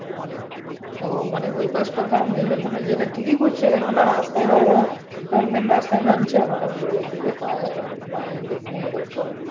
ও মানে ওই পাশ টা ধর থেকে করছে কেনো না রাস্তায় ধর ধর main রাস্তায় নামছে হটাৎ ওই দিকে হয়ে বা এই দিকে নিয়ে করছে